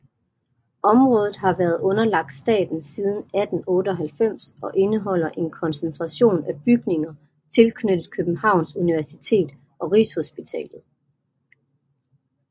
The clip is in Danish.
Området har været underlagt staten siden 1898 og indeholder en koncentration af bygninger tilknyttet Københavns Universitet og Rigshospitalet